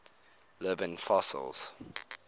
living fossils